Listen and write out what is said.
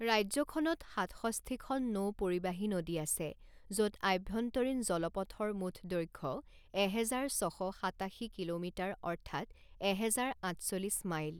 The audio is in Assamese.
ৰাজ্যখনত সাতষষ্ঠিখন নৌপৰিবাহী নদী আছে য'ত আভ্যন্তৰীণ জলপথৰ মুঠ দৈৰ্ঘ্য এহেজাৰ ছ শ সাতাশী কিলোমিটাৰ অৰ্থাৎ এহেজাৰ আঠচল্লিছ মাইল।